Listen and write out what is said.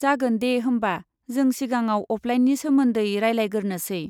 जागोन दे, होमबा जों सिगाङाव अफलाइननि सोमोन्दै रायलायगोरनोसै।